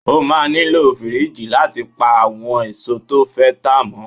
O máa nílò fíríjì láti pa àwọn èso tó fẹ́ tá mọ́.